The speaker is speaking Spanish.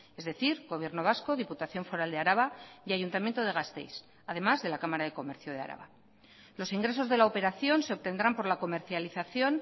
es decir gobierno vasco diputación foral de araba y ayuntamiento de gasteiz además de la cámara de comercio de araba los ingresos de la operación se obtendrán por la comercialización